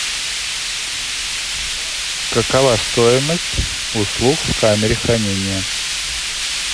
какова стоимость услуг в камере хранения